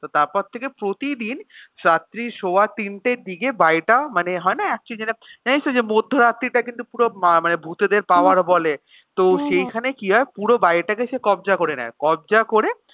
তো তারপর থেকে প্রতিদিন রাত্রি সোয়া তিনটের দিকে বাড়িটা মানে হয়না actually যেটা জানিস তো যে মধ্য রাত্রির টা কিন্তু পুরো ~ মানে ভাতেদের power বলে তো সেইখানে কি হয় পুরো বাড়িটাকে সে কব্জা করে নেয় কব্জা করে